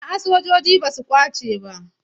A'a sojoji ba su ƙwace ba.